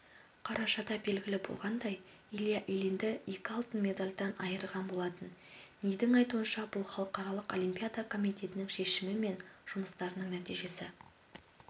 қарашада белгілі болғандай илья ильинді екі алтын медальдан айырған болатын нидің айтуынша бұл халықаралық олимпиада комитетінің шешімі мен жұмыстарының нәтижесі